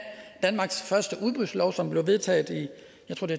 danmarks første udbudslov som blev vedtaget